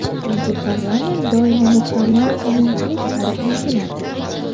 Chunki parlament doimo mukammal qonunchilik sari intiladi.